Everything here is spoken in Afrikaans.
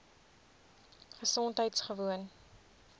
gesondheidgewoon